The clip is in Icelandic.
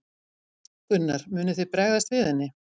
Gunnar: Munið þið bregðast við henni?